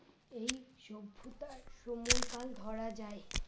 এই সভ্যতার সময়কাল ধরা যায়।